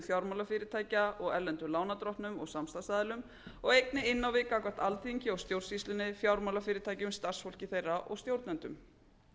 fjármálafyrirtækja og erlendum lánardrottnum og samstarfsaðilum og einnig inn á við gagnvart alþingi og stjórnsýslunni fjármálafyrirtækjum starfsfólki þeirra og stjórnendum